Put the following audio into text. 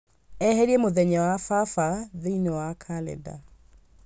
eherie mũthenya wa baba thĩinĩ wa kalenda